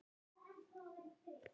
Þetta er alveg glatað svona!